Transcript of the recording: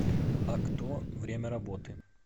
акто время работы